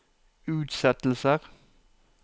utsettelser